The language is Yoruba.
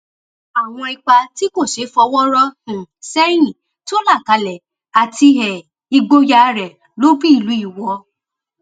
àwọn ipa tí kò ṣeé fọwọ rọ um sẹyìn tó là kalẹ àti um ìgboyà rẹ ló bí ìlú iwọ